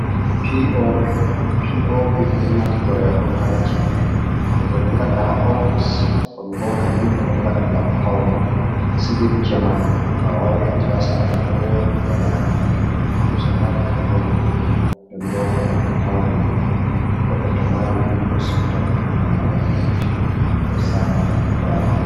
Pi o pi. Pi o pi ɗon naftire on ha ci’e, woɓɓe don ngada ha ofis, Ɗon bo kadi ɓeɗo ngaɗa ngam paune, silip njamanu. To a wari a tawan sare ɗo woɗi wala hala figo kusa ha dau kwano ko noi. Nden bo a tawan to goɗɗo ɗo mari ɗum o siu take hala wai dotti ɗo sa'ma diga kwano.